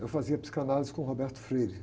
Eu fazia psicanálise com o.